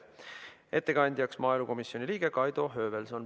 Ettekandjaks on maaelukomisjoni liige Kaido Höövelson.